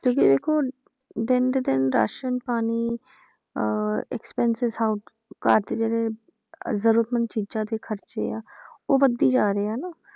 ਤੁਸੀਂ ਦੇਖੋ ਦਿਨ ਦੇ ਦਿਨ ਰਾਸ਼ਣ ਪਾਣੀ ਅਹ expenses ਘਰ ਦੇ ਜਿਹੜੇ ਜ਼ਰੂਰਤਮੰਦ ਚੀਜ਼ਾਂ ਦੇ ਖ਼ਰਚੇ ਆ ਉਹ ਵੱਧਦੇ ਜਾ ਰਹੇ ਆ ਨਾ,